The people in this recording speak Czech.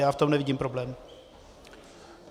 Já v tom nevidím problém.